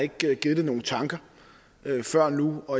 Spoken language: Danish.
ikke givet det nogen tanker før nu